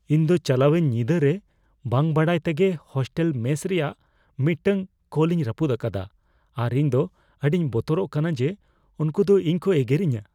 ᱤᱧ ᱫᱚ ᱪᱟᱞᱟᱣᱮᱱ ᱧᱤᱫᱟᱹ ᱨᱮ ᱵᱟᱹᱝ ᱵᱟᱰᱟᱭ ᱛᱮᱜᱮ ᱦᱳᱥᱴᱮᱞ ᱢᱮᱥ ᱨᱮᱭᱟᱜ ᱢᱤᱫᱴᱟᱝ ᱠᱚᱞᱤᱧ ᱨᱟᱹᱯᱩᱫ ᱟᱠᱟᱫᱟ ᱟᱨ ᱤᱧ ᱫᱚ ᱟᱹᱰᱤᱧ ᱵᱚᱛᱚᱨᱚᱜ ᱠᱟᱱᱟ ᱡᱮ ᱩᱝᱠᱩ ᱫᱚ ᱤᱧ ᱠᱚ ᱮᱜᱮᱨᱤᱧᱟ ᱾